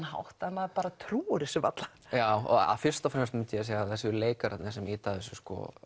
hátt að maður trúir þessu varla fyrst og fremst myndi ég segja að það séu leikararnir sem ýta þessu